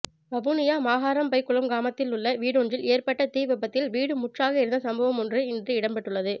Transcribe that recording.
வவுனியா மகாறம்பைக்குளம் கிராமத்தில் உள்ள வீடொன்றில் ஏற்பட்ட தீ விபத்தில் வீடு முற்றாக எரிந்த சம்ம்பவம் ஒன்று இன்று இடம்பெற்றுள்ளது